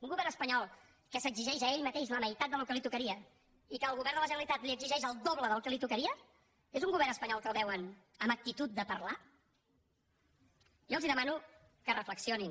un govern espanyol que s’exigeix a ell mateix la meitat del que li tocaria i que al govern de la generalitat li exigeix el doble del que li tocaria és un govern espanyol que el veuen amb actitud de parlar jo els demano que reflexionin